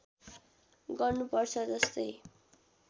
गर्नु पर्छ जस्तै